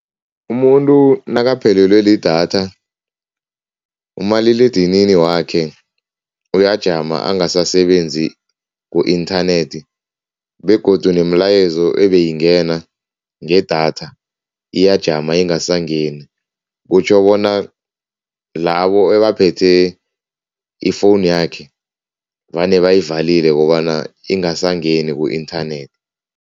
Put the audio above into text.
Umuntu nakaphelelwe lidatha, umaliledinini wakhe uyajama angasasebenzi ku-inthanethi begodu nemilayezo ebeyingena ngedatha iyajama ingasangeni, kutjho bona labo abaphethe ifowunu yakhe vane bayivalile kobana ingasangeni ku-inthanethi.